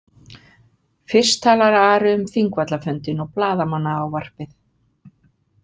Fyrst talar Ari um Þingvallafundinn og blaðamannaávarpið.